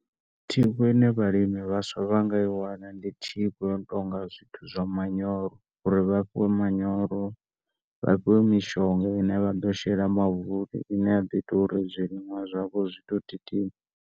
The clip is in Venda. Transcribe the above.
Thikho ine vhalimi vhaswa vha nga iwana ndi thikho yo no tonga zwithu zwa manyoro uri vha fhiwe manyoro vha fhiwe mishonga ine vha ḓo shela mavuni ine ya ḓo ita uri zwiliṅwa zwavho zwi to .